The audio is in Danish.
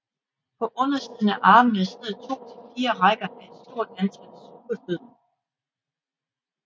På undersiden af armene sidder to til fire rækker af et stort antal sugefødder